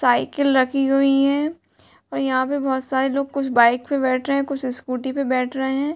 Cycle रखी हुई हैं और यहाँ पे बहोत सारे लोग कुछ बाइक पे बैठे रहे हैंकुछ स्कूटी पे बैठ रहे हैं।